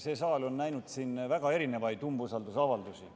See saal on näinud väga erinevaid umbusalduse avaldamisi.